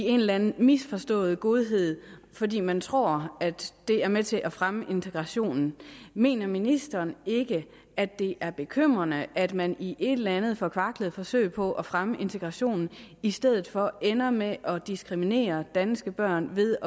en eller en misforstået godhed fordi man tror at det er med til at fremme integrationen mener ministeren ikke at det er bekymrende at man i et eller andet forkvaklet forsøg på at fremme integrationen i stedet for ender med at diskriminere danske børn ved